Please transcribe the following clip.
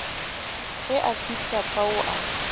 ge a fihla fao a